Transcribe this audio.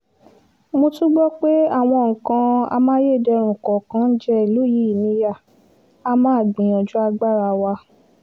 mo tún gbọ́ pé àwọn nǹkan amáyédẹrùn kọ̀ọ̀kan ń jẹ ìlú yìí níyà a máa gbìyànjú agbára wa